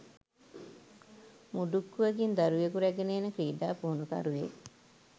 මුඩුක්කුවකින් දරුවෙකු රැගෙන එන ක්‍රීඩා පුහුණුකරුවෙක්